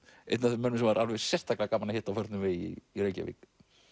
einn af þeim mönnum sem var sérstaklega gaman að hitta á förnum vegi í Reykjavík